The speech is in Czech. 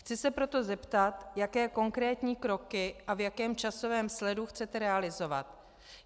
Chci se proto zeptat, jaké konkrétní kroky a v jakém časovém sledu chcete realizovat.